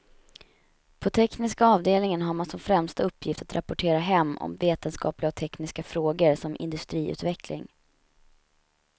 På tekniska avdelningen har man som främsta uppgift att rapportera hem om vetenskapliga och tekniska frågor, som industriutveckling.